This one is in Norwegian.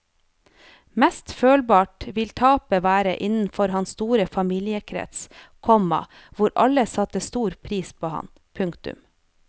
Mest følbart vil tapet være innenfor hans store familiekrets, komma hvor alle satte stor pris på ham. punktum